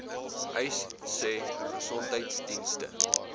uys sê gesondheidsdienste